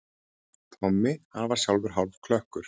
Tommi, hann var sjálfur hálfklökkur.